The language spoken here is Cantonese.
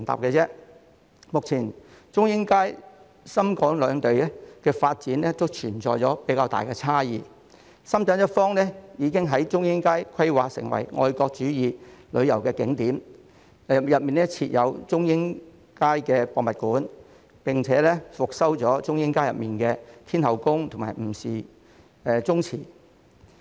目前中英街深港兩地發展都存在較大差異，深圳一方已將中英街規劃為愛國主義旅遊景點，當中設有中英街博物館，並已復修中英街內的天后宮和吳氏宗祠。